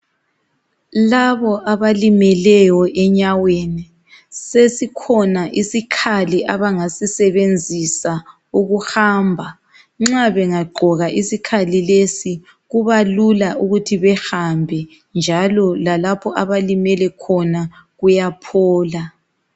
Labo abalimeleyo enyaweni sesikhona isikhali abangasisebenzisa ukuhamba nxa bengagqoka isikhali lesi kubalula ukuthi behambe njalo lalapho abalimele khona kuyaphola.